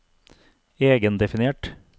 egendefinert